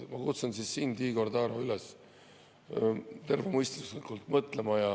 Ma kutsun siis sind, Igor Taro, üles tervemõistuslikult mõtlema.